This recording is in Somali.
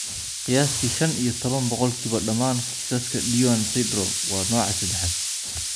Qiyaastii shan iyo toban boqolkiiba dhammaan kiisaska Duane syndrome waa nooca sadaxad.